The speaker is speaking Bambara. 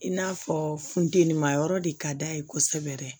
I n'a fɔ funteni ma yɔrɔ de ka d'a ye kosɛbɛ